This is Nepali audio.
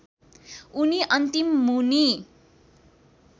उनी अन्तिम मुनि